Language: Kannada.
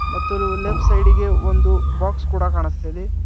ಮತ್ತು ಲೂ-ಲೆಫ್ಟ್ ಸೈಡ್ ಗೆ ಒಂದು ಬಾಕ್ಸ್ ಕೊಡ ಕಾಣುಸ್ತಾ ಇದೆ.